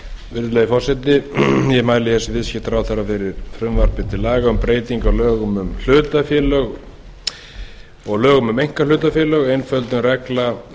virðulegi forseti ég mæli sem viðskiptaráðherra fyrir frumvarpi til laga um breytingu á lögum um hlutafélög og lögum um einkahlutafélög